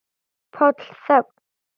PÁLL: Þögn!